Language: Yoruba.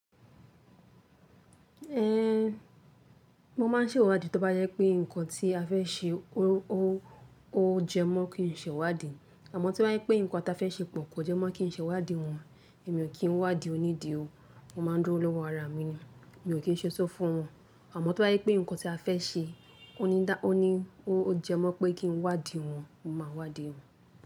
Ẹn, mo ma n ṣe ìwádìí tí ó bá jẹ pé nǹkan tí a fẹ́ ṣe ó jẹ mọ́ kí n ṣe ìwádìí. Àmọ́ tí o bá jẹ pé nǹkan tí a fẹ́ ṣe pọ̀ kò jẹ́ mọ́ kí n ṣe ìwádìí wọ́n, èmi ò kí n wádìí onídìí o, mo ma n dúró lọ́wọ́ ara mi ni, mi ò kí n ṣe sófo fún wọn. Àmọ́ tó bá jẹ pé nǹkan tí a fẹ́ ṣe ó ní dá, ó ní ó jẹ́ mọ́ pé kí n wádìí wọn, mo ma wádìí wọn.